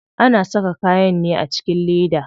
Ana saka kayan ne a cikin leda.